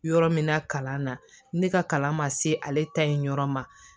Yɔrɔ min na kalan na ne ka kalan ma se ale ta in yɔrɔ ma